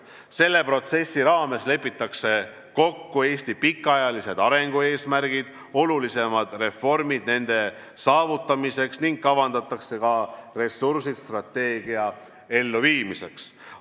Selle protsessi raames lepitakse kokku Eesti pikaajalised arengueesmärgid, olulisemad reformid, mida on vaja nende saavutamiseks, ning kavandatakse ka ressursid strateegia elluviimiseks.